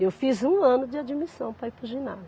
Eu fiz um ano de admissão para ir para o ginásio.